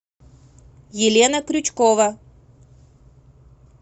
елена крючкова